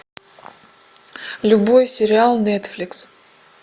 любой сериал нетфликс